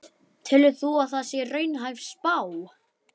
Telur þú að það sé raunhæf spá?